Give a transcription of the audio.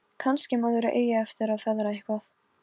Kannski maður eigi eftir að feðra eitthvað.